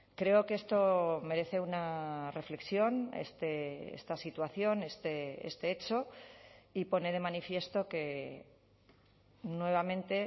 creo que esto merece una reflexión esta situación este hecho y pone de manifiesto que nuevamente